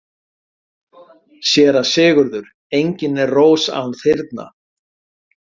SÉRA SIGURÐUR: Engin er rós án þyrna.